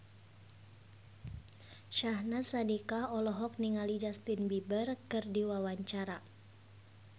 Syahnaz Sadiqah olohok ningali Justin Beiber keur diwawancara